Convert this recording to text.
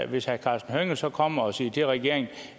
hvis herre karsten hønge så kommer og siger til regeringen